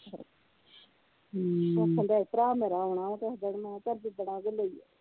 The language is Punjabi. ਆਖਣ ਦਿਆ ਹੀ ਭਰਾ ਮੇਰਾ ਆਉਣਾ ਵਾ ਕਿਹੇ ਦਿਨ ਮੈ ਕਿਹਿਆ ਚਲ ਜਿਦਣ ਆਉਗੇ ਲਈ